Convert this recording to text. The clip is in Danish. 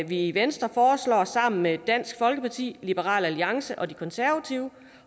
vi i venstre foreslår sammen med dansk folkeparti liberal alliance og de konservative